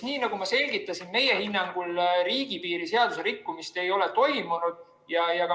Ehk nagu ma selgitasin, meie hinnangul riigipiiri seaduse rikkumist ei ole toimunud.